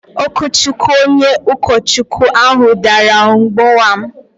Okwuchukwu onye ukochukwu ahụ dàrà mgbowa m